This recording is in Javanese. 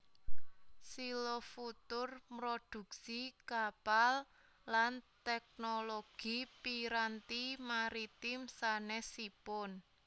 Xylofutur mrodhuksi kapal lan tèknologi piranti maritim sanèsipun